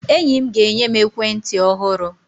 Enyi m ga-enye m ekwentị ọhụrụ.